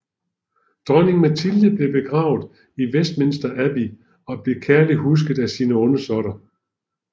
Dronning Matilde blev begravet i Westminster Abbey og blev kærligt husket af sine undersåtter